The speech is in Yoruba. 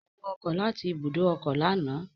Ó wọ ọkọ̀ láti ibùdó ọkọ̀ lánàá